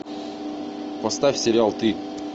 поставь сериал ты